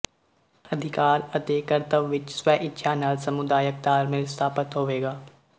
ਅਧਿਕਾਰ ਅਤੇ ਕਰਤੱਵ ਵਿੱਚ ਸਵੈ ਇੱਛਾ ਨਾਲ ਸਮੁਦਾਇਕ ਤਾਲਮੇਲ ਸਥਾਪਤ ਹੋਵੇਗਾ